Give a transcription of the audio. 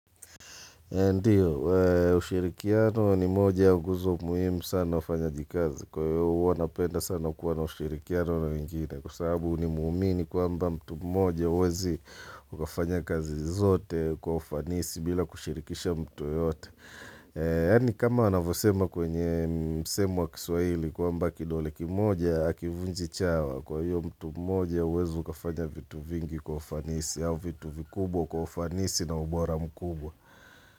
Ndiyo, ushirikiano ni moja ya nguzo muhimu sana ufanyajikazi kwa hiyo huwa napenda sana kuwa na ushirikiano na wengine kwa sababu ni muumini kwamba mtu mmoja huwezi ukafanya kazi zote kwa ufanisi bila kushirikisha mtu yeyote. Yaani kama wanavyosema kwenye msemo wa Kiswaili kwamba kidole kimoja hakivunji chawa kwa hiyo mtu mmoja huwezi ukafanya vitu vingi kwa ufanisi au vitu vikubwa kwa ufanisi na ubora mkubwa.